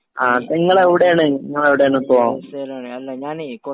ങാ..നിങ്ങള് എവിടെയാണ്? നിങ്ങള് എവിടെയാണിപ്പോ?